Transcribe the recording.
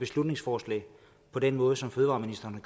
beslutningsforslag på den måde som fødevareministeren